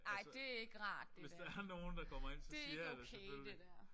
Ej det er ikke rart det der. Det ikke okay det der